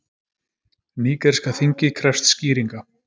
Nígeríska þingið krefst skýringa